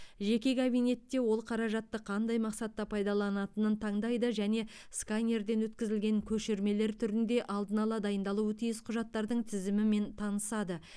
жеке кабинетте ол қаражатты қандай мақсатта пайдаланатынын таңдайды және сканерден өткізілген көшірмелер түрінде алдын ала дайындалуы тиіс құжаттардың тізімімен танысады